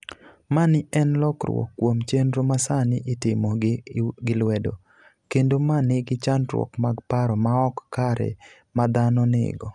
Mani en lokruok kuom chenro masani itimo gi lwedo, kendo ma nigi chandruok mag paro maok kare ma dhano nigo.